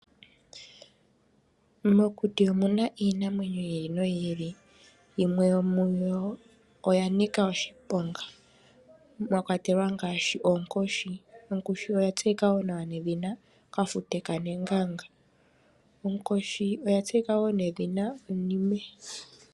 Mokuti omuna iinamwenyo yi ili noyi ili, yimwe yomuyo oya nika oshiponga, mwa kwatelwa ngaashi oonkoshi. Onkoshi oya tseyika wo nedhina kafute ka neganga. Onkoshi oya tseyika wo nedhina onime.